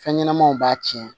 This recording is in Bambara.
Fɛn ɲɛnɛmanw b'a tiɲɛ